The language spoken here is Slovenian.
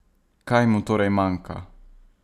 Kaj mu torej manjka?